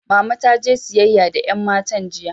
Mama taje siyayya da yan matan jiya.